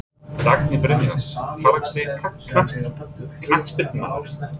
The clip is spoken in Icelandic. Dagný Brynjars Fallegasti knattspyrnumaðurinn?